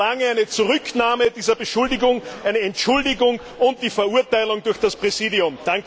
Ich verlange eine Zurücknahme dieser Beschuldigung, eine Entschuldigung und eine Verurteilung durch das Präsidium!